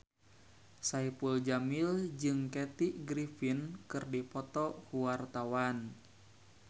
Saipul Jamil jeung Kathy Griffin keur dipoto ku wartawan